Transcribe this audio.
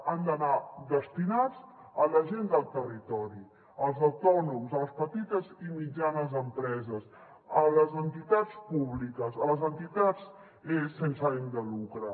han d’anar destinats a la gent del territori als autònoms a les petites i mitjanes empreses a les entitats públiques a les entitats sense ànim de lucre